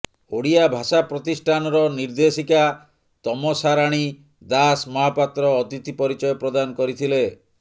ଓଡ଼ିଆ ଭାଷା ପ୍ରତିଷ୍ଠାନର ନିର୍ଦ୍ଦେଶକା ତମସାରାଣୀ ଦାସ ମହାପାତ୍ର ଅତିଥି ପରିଚୟ ପ୍ରଦାନ କରିଥିଲେ